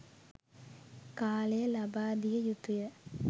කාලය ලබාදිය යුතුය